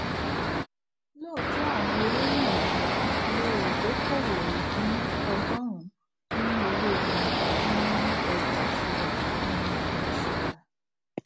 lóòtọ àwọn owó wọnyii le è dókòwò ìpín ọgọrùn nínú owó wọn nínú ọjà ìṣúra nínú ọjà ìṣúra